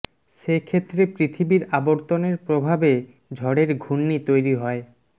সে ক্ষেত্রে পৃথিবীর আবর্তনের প্রভাবে ঝড়ের ঘূর্ণি তৈরি হয়